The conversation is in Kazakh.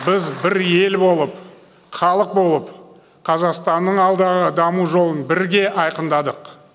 біз бір ел болып халық болып қазақстанның алдағы даму жолын бірге айқындадық